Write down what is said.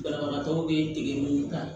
Banabagatɔw bɛ dege mun kan